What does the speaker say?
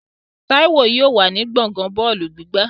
Táíwò yóò wà ní gbọ̀ngán bọ́ọ̀lù gbígbá